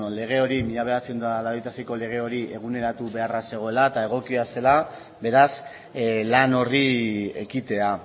lege hori mila bederatziehun eta laurogeita seiko lege hori eguneratu beharra zegoela eta egokia zela beraz lan horri ekitea